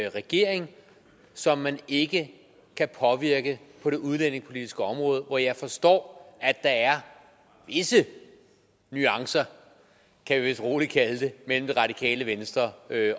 en regering som man ikke kan påvirke på det udlændingepolitiske område hvor jeg forstår at der er vise nuancer kan vi vist roligt kalde det mellem det radikale venstre